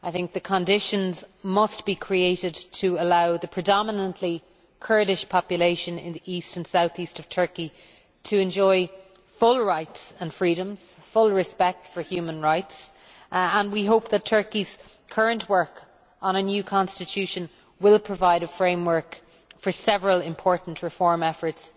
The conditions must be created to allow the predominantly Kurdish population in the East and South East of Turkey to enjoy full rights and freedoms and full respect for human rights, and we hope that Turkey's current work on a new Constitution will provide a framework for several important reform efforts,